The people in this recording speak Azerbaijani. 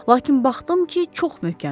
Lakin baxdım ki, çox möhkəmdir.